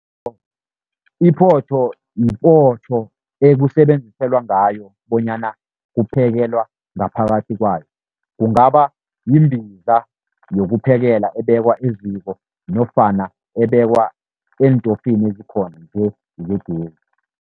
Iphotho, yipoto ekusebenziselwa ngayo bonyana kuphekelelwa ngaphakathi kwayo. Kungaba yimbiza yokuphekela ebekwa eziko nofana ebekwa eentofini ezikhona nje zegezi.